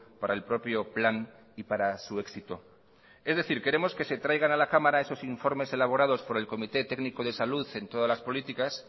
para el propio plan y para su éxito es decir queremos que se traigan a la cámara esos informes elaborados por el comité técnico de salud en todas las políticas